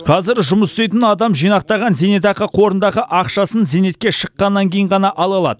қазір жұмыс істейтін адам жинақтаған зейнетақы қорындағы ақшасын зейнетке шыққаннан кейін ғана ала алады